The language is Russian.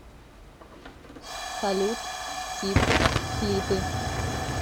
салют т и п клипы